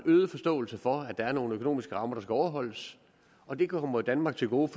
øget forståelse for at der er nogle økonomiske rammer der skal overholdes og det kommer danmark til gode